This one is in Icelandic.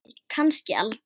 Kannski aldrei.